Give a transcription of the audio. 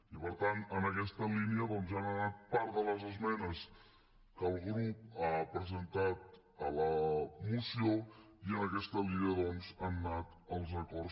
i per tant en aquesta línia doncs han anat part de les esmenes que el grup ha presentat a la moció i en aquesta línia han anat els acords